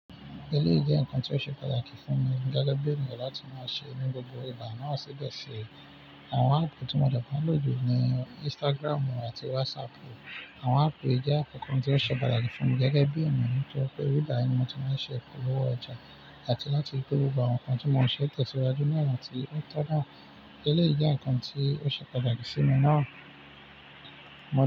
Eleyii jẹ́ ǹnkan tí ó ṣe pàtàkì fún mi gẹ́gẹ́ bí ènìyàn láti máa ṣe ni gbogbo ìgbà náà sìbe ṣe àwọn áàpù tí mo dẹ́ maa n lójú níi Instagram àti WhatsApp. Àwọn áàpù ì jẹ́ áàpù nnkan kan tí ó ṣe pàtàkì fún mi gẹ́gẹ́ bí ènìyàn nitori pé ibi bayi ní mo ti máa ń ṣe ìpolówó ọjà àti láti ri pe gbogbo àwọn nǹkan tí mo ṣe tẹ̀síwájú ní ona ti. Ó tó dáa, eleyii jẹ́ ǹkan tí ó ṣe pàtàkì sí mi náà, mo ní.